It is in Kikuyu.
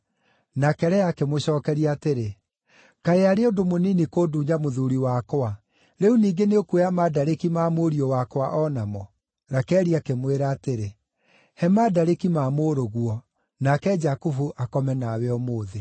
Nake Lea akĩmũcookeria atĩrĩ, “Kaĩ arĩ ũndũ mũnini kũndunya mũthuuri wakwa? Rĩu ningĩ nĩũkuoya mandarĩki ma mũriũ wakwa o namo?” Rakeli akĩmwĩra atĩrĩ, “He mandarĩki ma mũrũguo, nake Jakubu akome nawe ũmũthĩ.”